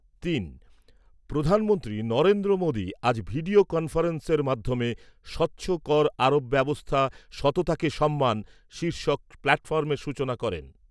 তিন। প্রধানমন্ত্রী নরেন্দ্র মোদী আজ ভিডিও কনফারেন্সের মাধ্যমে 'স্বচ্ছ কর আরোপ ব্যবস্থা সততাকে সম্মান' শীর্ষক প্ল্যাটফর্মের সূচনা করেন।